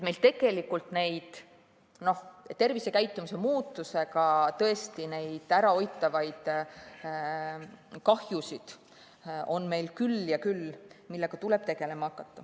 Meil on tervisekäitumise muutusega ärahoitavaid kahjusid küll ja küll, millega tuleb tegelema hakata.